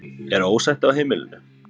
Er ósætti á heimilinu?